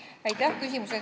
Aitäh küsimuse eest!